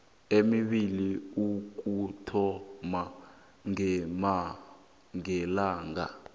emibili ukuthoma ngelanga